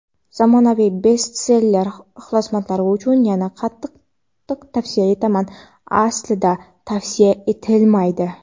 Zamonaviy "bestseller" ixlosmandlari uchun yanada qattiq tavsiya etaman (Aslida tavsiya etilmaydi.